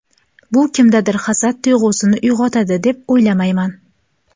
Bu kimdadir hasad tuyg‘usini uyg‘otadi deb o‘ylamayman.